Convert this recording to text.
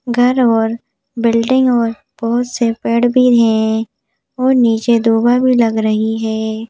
घर और बिल्डिंग और बहुत से पेड़ भी हैं और नीचे दुभर भी लग रही है।